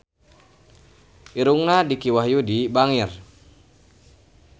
Irungna Dicky Wahyudi bangir